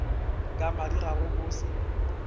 ka madi ga go botse